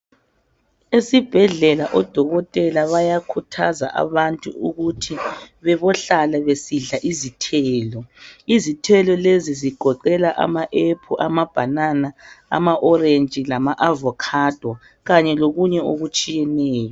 Esibhedlela odokotela bayakuthaza abantu ukuthi bebohlala besidla izithelo. Izithelo lezi zigoqela ama ' apple' , amabhanana amaoreji lama avokhado kanye lokunye okutshiyeneyo.